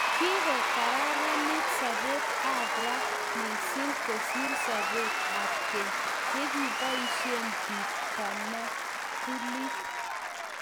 Kikoraranit sobet ab ra mising kosir sobet ab keny yekiboishee bik tamambulit